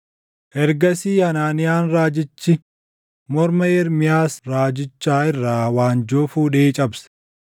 Ergasii Hanaaniyaan raajichi morma Ermiyaas raajichaa irraa waanjoo fuudhee cabse;